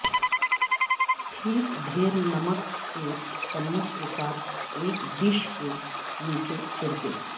ٹھیک ڈھیر نمک کے چمچ کے ساتھ اس ڈش کے نیچے چھڑکیں